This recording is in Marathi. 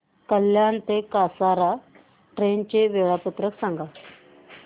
कल्याण ते कसारा ट्रेन चे वेळापत्रक सांगा